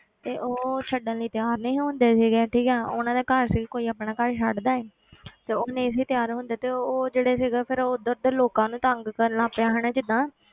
ਤੇ ਉਹ ਛੱਡਣ ਲਈ ਤਿਆਰ ਨਹੀਂ ਹੁੰਦੇ ਸੀਗੇ ਠੀਕ ਹੈ ਉਹਨਾਂ ਦਾ ਆਪਣਾ ਘਰ ਸੀ ਕੋਈ ਆਪਣਾ ਘਰ ਛੱਡਦਾ ਹੈ ਤੇ ਉਹ ਨਹੀਂ ਸੀ ਤਿਆਰ ਹੁੰਦੇ ਤੇ ਉਹ ਉਹ ਜਿਹੜੇ ਸੀਗਾ ਫਿਰ ਉਹ ਉੱਧਰ ਦੇ ਲੋਕਾਂ ਨੂੰ ਤੰਗ ਕਰਨਾ ਪਿਆ ਹਨਾ ਜਿੱਦਾਂ